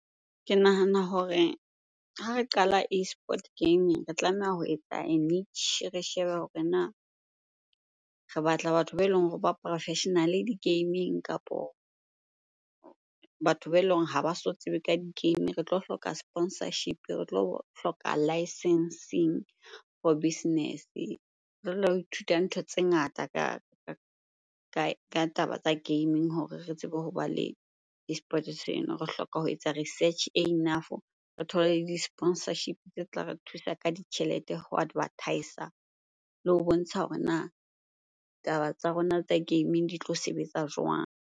Ke nahana hore ha re qala eSport gaming re tlameha ho etsa re shebe hore na re batla batho ba eleng hore ba professional-e di-gaming kapo batho ba eleng hore ha ba so tsebe ka di-game. Re tlo hloka sponsorship, re tlo hloka licencing for business. Re lo ithuta ntho tse ngata ka taba tsa gaming hore re tsebe hoba le eSports seno. Re hloka ho etsa research e enough, re thole le di-sponsorship tse tla re thusa ka ditjhelete ho advertise-a le ho bontsha hore na taba tsa rona tsa gaming di tlo sebetsa jwang?